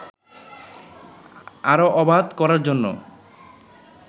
আরো অবাধ করারজন্য